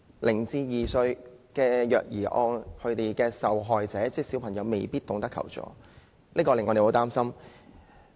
0至2歲虐兒案的受害者未必懂得求助，這點令人十分擔心。